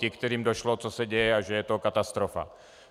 Ti, kterým došlo, co se děje a že je to katastrofa.